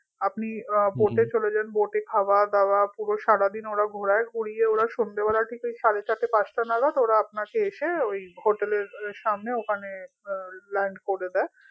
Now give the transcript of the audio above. আপনি আহ boat এ চলে যাবেন boat এ খাওয়া দাওয়া পুরো সারাদিন ওরা ঘোরায় ঘুরিয়ে ওরা সন্ধ্যেবেলা আরকি সাড়ে চারটা পাঁচটা নাগাদ ওরা আপনাকে এসে ওই hotel এর সামনে ওখানে আহ land করে দে